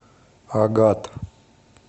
агат